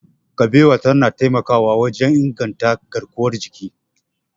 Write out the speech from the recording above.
Kabewa tana taimakawa wajen inganta garkuwar jiki.